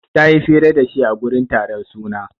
Ta yi fira da shi a gurin taron suna.